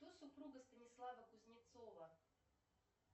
кто супруга станислава кузнецова